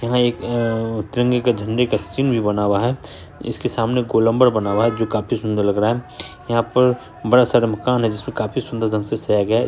यहाँ एक अ तिरंगे के झंडे का चिन्ह भी बना हुआ है इसके सामने गोलंबर भी बना हुआ है जो काफी सुंदर लग रहा है यहाँ पर बड़ा सारा मकान है जिस पर काफी सुंदर ढंग से सजाया गया है।